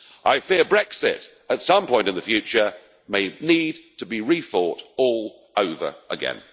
I fear Brexit at some point in the future may need to be re-fought all over again.